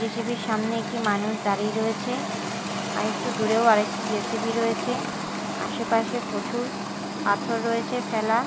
JCB -র সামনে একটি মানুষ দাঁড়িয়ে রয়েছে আর একটু দূরেও আরেকটি জে_সি_বি রয়েছে আশেপাশে পচুর পাথর রয়েছে ফেলা।